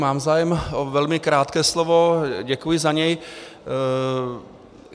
Mám zájem o velmi krátké slovo, děkuji za něj.